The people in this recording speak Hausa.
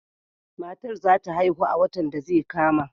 Matar za ta haihu a watan da zai kama.